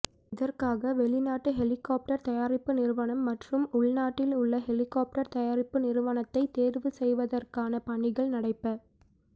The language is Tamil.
இதற்காக வெளிநாட்டு ஹெலிகாப்டர் தயாரிப்பு நிறுவனம் மற்றும் உள்நாட்டில் உள்ள ஹெலிகாப்டர் தயாரிப்பு நிறுவனத்தை தேர்வு செய்வதற்கான பணிகள் நடைபெ